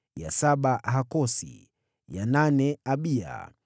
ya saba Hakosi, ya nane Abiya,